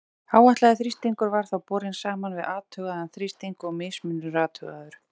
Áætlaður þrýstingur var þá borinn saman við athugaðan þrýsting og mismunur athugaður.